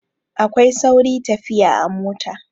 Akwai sauri tafiya a mota.